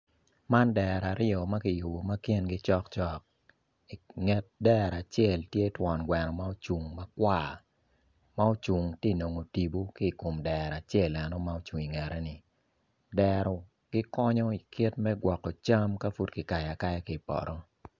Man dero aryo ma kiyubo ma kingi cokcok i nget dero acel tye twon gwe macel ma ocung makwar ma ocung tye ka nongo tipo ki i kom dero ma en ocung i kangete ni dero gikonyo i kit me gwoko cam ka pud kikayo akaya ki i poto.